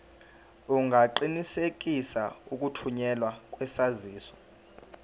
ungaqinisekisa ukuthunyelwa kwesaziso